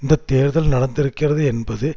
இந்த தேர்தல் நடத்திருக்கிறது என்பது